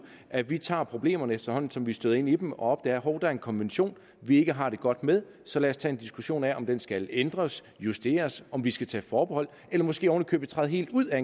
at vi tager problemerne efterhånden som vi støder ind i dem og opdager at hov der er en konvention vi ikke har det godt med så lad os tage en diskussion af om den skal ændres justeres om vi skal tage forbehold eller måske oven i købet træde helt ud af